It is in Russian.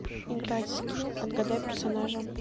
играть в скилл отгадай персонажа